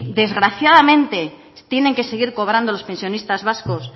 desgraciadamente tienen que seguir cobrando los pensionistas vascos